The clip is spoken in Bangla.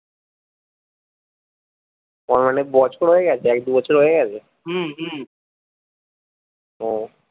ওর অনেক বছর হয়ে গেছে এক দু বছর হয়ে গেছে হম হম হম